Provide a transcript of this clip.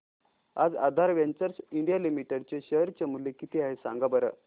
आज Aadhar ventures India limited चे share चे मूल्य किती आहे सांगा बरं